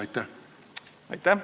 Aitäh!